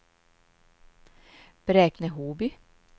Bräkne-Hoby